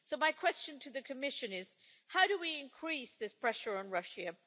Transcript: My question to the Commissioner is this how do we increase this pressure on Russia?